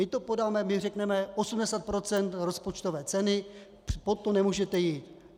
My to podáme, my řekneme 80 % rozpočtové ceny, pod to nemůžete jít.